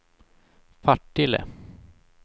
Partille